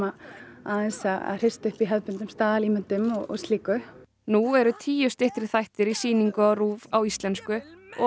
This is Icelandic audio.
aðeins að hrista upp í staðalímyndum og slíku nú eru tíu styttri þættir í sýningu á RÚV á íslensku og